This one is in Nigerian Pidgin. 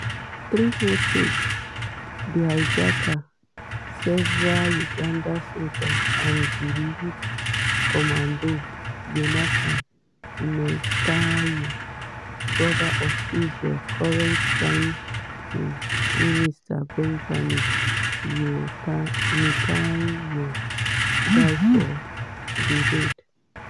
three hostages the hijackers several uganda soldiers and di lead commando yonatan netanyahu (brother of israel current prime um minister benjamin netanyahu) die for di raid.